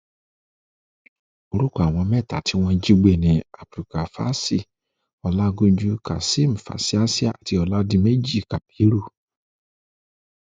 orúkọ àwọn mẹtẹẹta tí wọn jí gbé ni abdulgafási ọlajànjú kazeem fásiáàsì àti oládiméjì kábírú